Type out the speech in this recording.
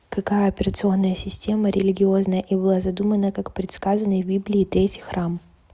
какая операционная система религиозная и была задумана как предсказанный в библии третий храм